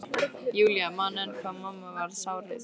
Júlía man enn hvað mamma varð sárreið.